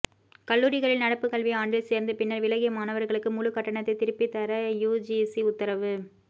கல்லூரிகளில் நடப்பு கல்வி ஆண்டில் சேர்ந்து பின்னர் விலகிய மாணவர்களுக்கு முழு கட்டணத்தை திருப்பி தர யுஜிசி உத்தரவு